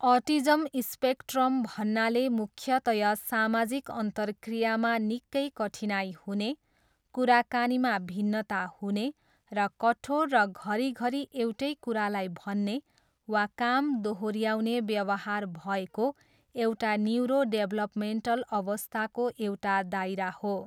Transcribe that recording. Autism spectrum भन्नाले मुख्यतया सामाजिक अन्तरक्रियामा निकै कठिनाइ हुने, कुराकानीमा भिन्नता हुने र कठोर र घरी घरी एउटै कुरालाई भन्ने वा काम दोहोऱ्याउने व्यवहार भएको एउटा न्युरोडेभलपमेन्टल अवस्थाको एउटा दायरा हो।